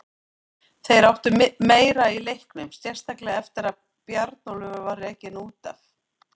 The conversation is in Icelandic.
Þeir áttu meira í leiknum, sérstaklega eftir að Bjarnólfur var rekinn út af.